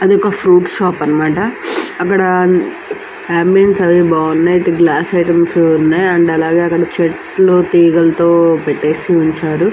అది ఒక fruit shop అన్నమాట. అక్కడ అంబెన్స్ అన్ని బాగున్నాయి. ఇత్తో గ్లాస్ ఐటమ్స్ కూడా ఉన్నాయి. అండ్ అలాగే అక్కడ చెట్లు తీగలతో పెట్టేసి ఉంచారు.